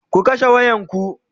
ku kashe wayan ku!